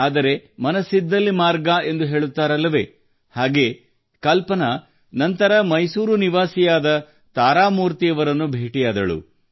ಆದರೆ ಮನಸ್ಸಿದ್ದಲ್ಲಿ ಮಾರ್ಗ ಎಂದು ಹೇಳುತ್ತಾರಲ್ಲವೇ ಹಾಗೆ ಕಲ್ಪನಾ ನಂತರ ಮೈಸೂರು ನಿವಾಸಿಯಾದ ತಾರಾ ಮೂರ್ತಿಯವರನ್ನು ಭೇಟಿಯಾದಳು